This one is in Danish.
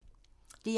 DR1